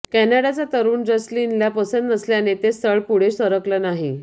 कॅनडाचा तरुण जसलीनला पसंत नसल्याने ते स्थळ पुढे सरकलं नाही